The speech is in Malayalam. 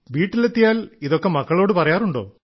വീട്ടിലെത്തിയാൽ ഇതൊക്കെ മക്കളോട് പറയാറുണ്ടോ